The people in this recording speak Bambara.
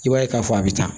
I b'a ye k'a fɔ a bɛ tan